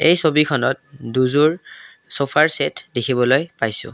এই ছবিখনত দুযোৰ ছফাৰ ছেট দেখিবলৈ পাইছোঁ।